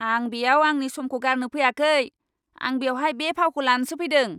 आं बेयाव आंनि समखौ गारनो फैयाखै! आं बेवहाय बे फावखौ लानोसो फैदों!